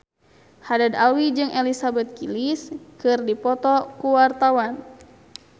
Haddad Alwi jeung Elizabeth Gillies keur dipoto ku wartawan